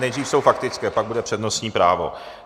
Nejdřív jsou faktické, pak bude přednostní právo.